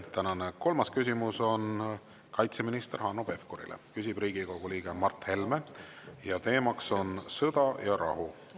Tänane kolmas küsimus on kaitseminister Hanno Pevkurile, küsib Riigikogu liige Mart Helme ja teema on sõda ja rahu.